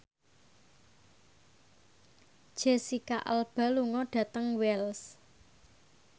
Jesicca Alba lunga dhateng Wells